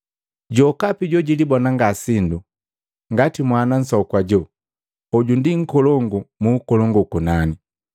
Jokapi jojulibona ngasindu ngati mwana nsoku ajo, hoju ndi nkolongu mu ukolongu ukunani.